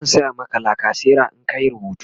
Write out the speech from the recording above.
e zan saya Maka lacasera in ka Yi rubutu